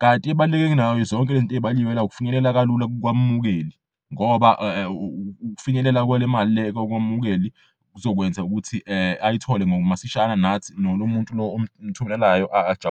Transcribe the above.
Kanti int'ebaluleke kunazo zonke lezinto ezibaliwe la ukufinyelela kalula kwamukeli ngoba ukufinyelela kwale mal'le kwamukeli kuzokwenza ukuthi ayithole masishane nalo muntu lo omthumelelayo .